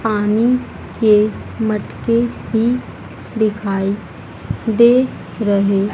पानी के मटके ही दिखाई दे रहे--